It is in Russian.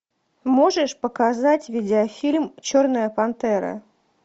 можешь показать видеофильм черная пантера